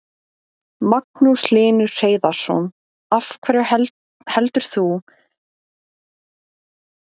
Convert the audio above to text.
Magnús Hlynur Hreiðarsson: Af hverju heldur þú að sé svona mikill áhugi á spuna?